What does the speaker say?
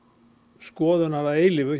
skoðunar að eilífu